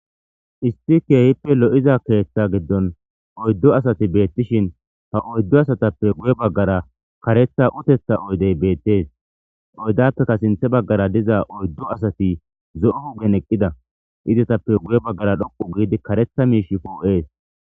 isti keehippe lo7iza keeththa giddon oyddu asati beettishin ha oyddo asatappe guye baggara karetha utetha oydey beettees oydappeka sinthe baggara diza oyddu asati zo7u hugen eqqida izetappe guye baggara dhoqu giidi karetha miish pu7ees